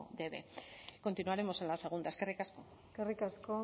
de eve continuaremos en la segunda eskerrik asko eskerrik asko